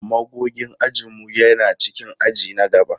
Magogin ajin mu yana cikin aji na gaba.